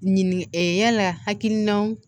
Ɲinin ee yala hakilinaw